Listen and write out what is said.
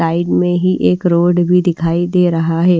Side में ही एक रोड भी दिखाई दे रहा है।